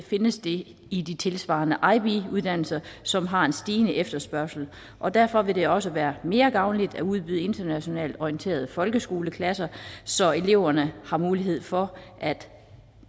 findes det i de tilsvarende ib uddannelser som har en stigende efterspørgsel og derfor vil det også være mere gavnligt at udbyde internationalt orienterede folkeskoleklasser så eleverne har mulighed for at